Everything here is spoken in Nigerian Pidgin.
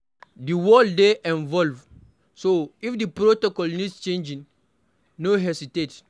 Di world dey evolve, so If di protocol needs changing, no hesitate